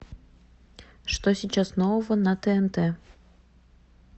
что сейчас нового на тнт